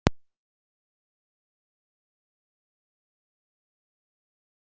Begga yrðu glöð að fá hann undir þessum kringumstæðum.